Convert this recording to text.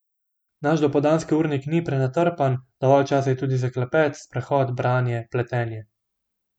Naš dopoldanski urnik ni prenatrpan, dovolj časa je tudi za klepet, sprehod, branje, pletenje...